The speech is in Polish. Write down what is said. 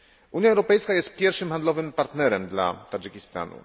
Unia Europejska jest pierwszym handlowym partnerem dla Tadżykistanu.